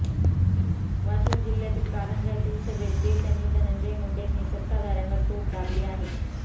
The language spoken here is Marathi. वाशिम जिल्ह्यातील कारंजा येथील सभेत ते त्यांनी धनंजय मुंडेंनी सत्ताधाऱ्यांवर तोफ डागली आहे